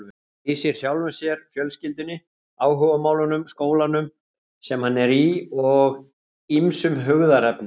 Hann lýsir sjálfum sér, fjölskyldunni, áhugamálunum, skólanum sem hann er í og ýmsum hugðarefnum.